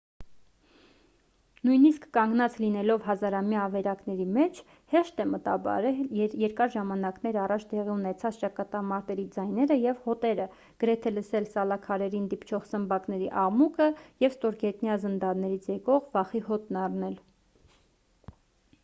նույնիսկ կանգնած լինելով հազարամյա ավերակների մեջ հեշտ է մտաբերել երկար ժամանակներ առաջ տեղի ունեցած ճակատամարտերի ձայները և հոտերը գրեթե լսել սալաքարերին դիպչող սմբակների աղմուկը և ստորգետնյա զնդաններից եկող վախի հոտն առնել